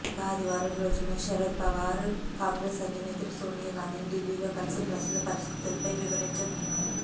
ఇక ఆదివారం రోజున శరద్ పవార్ కాంగ్రెస్ అధినేత్రి సోనియాగాంధీని ఢిల్లీలో కలిసి ప్రస్తుత పరిస్థితులపై వివరించనున్నారు